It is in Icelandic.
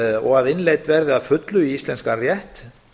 og að innleidd verði að fullu í íslenskan rétt